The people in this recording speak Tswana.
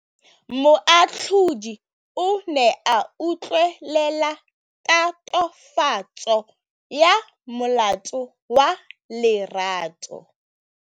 Moatlhodi o ne a utlwelela tatofatsô ya molato wa Lerato.